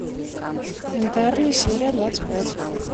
интерны серия двадцать пять